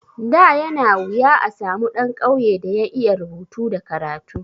Da yana wuya a samu ɗan ƙauye da ya iya rubutu da karatu.